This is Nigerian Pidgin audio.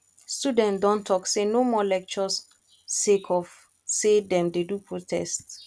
students don tok sey no more lecture sake of sey dem dey do protest